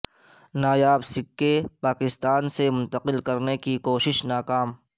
نایاب سکے پاکستان سے منتقل کرنے کی کوشش ناکام